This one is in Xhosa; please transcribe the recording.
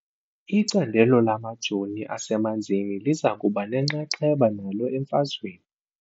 Icandelo lamajoni asemanzini liza kuba nenxaxheba nalo emfazweni .